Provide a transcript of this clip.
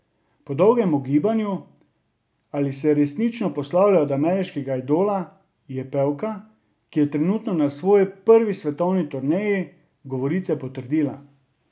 Po dolgem ugibanju, ali se resnično poslavlja od Ameriškega idola, je pevka, ki je trenutno na svoji prvi svetovni turneji, govorice potrdila.